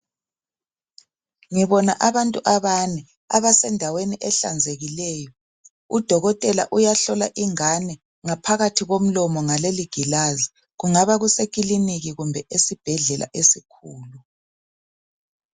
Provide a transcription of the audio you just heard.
Ngibona abantu abane abasendaweni ehlanzekileyo. Udokotela uyahlola ingane ngaphakathi komlomo ngaleli gilazi. Kungaba kuse kulinika kumbe esibhedlela esikhulu.